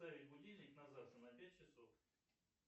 поставить будильник на завтра на пять часов